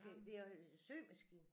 Okay det er symaskine